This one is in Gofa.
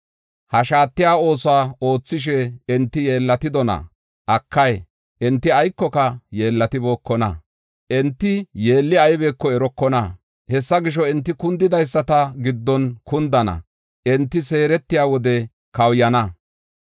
Ha shaatiya oosuwa oothishe, enti yeellatidona? Akay, enti aykoka yeellatibookona. Enti yeelli aybeko erokona. Hessa gisho, enti kundidaysata giddon kundana; enti seeretiya wode kawuyana.